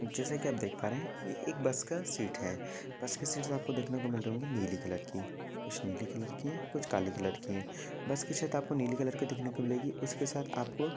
जैसे की आप देख पा रहे एक बस का सीट है बस के सीट से आपको देखने को मिल रही होगी नील कलर की कुछ नीले कलर की है कुछ काले कलर की है। बस की छत आपको नीले कलर की देखने को मिलेगी। उसके साथ आपको--